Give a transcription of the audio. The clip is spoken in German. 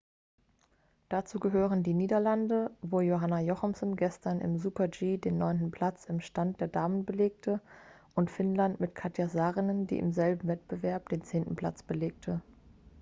dazu gehören die niederlande wo anna jochemsen gestern im super-g den neunten platz im stand der damen belegte und finnland mit katja saarinen die im selben wettbewerb den zehnten platz belegte